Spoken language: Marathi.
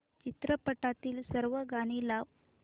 चित्रपटातील सर्व गाणी लाव